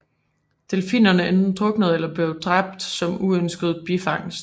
Delfinerne enten druknede eller blev dræbt som uønsket bifangst